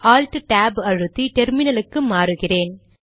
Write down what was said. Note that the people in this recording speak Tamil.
ஆல்ட் டேப் அழுத்தி டெர்மினலுக்கு மாறுகிறேன்